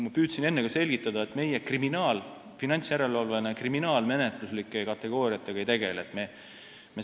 Ma püüdsin enne ka selgitada, et meie finantsjärelevalveasutusena kriminaalmenetluslike kategooriatega ei tegele.